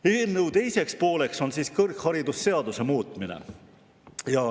Eelnõu teine pool on kõrgharidusseaduse muutmine.